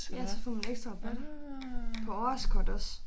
Ja så får man ekstra rabat på årskort også